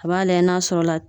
A b'a layɛ n'a sɔrɔ la